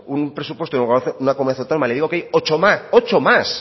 un presupuesto de una comunidad autónoma le digo que hay ocho más